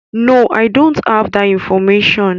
No, I don't have that information.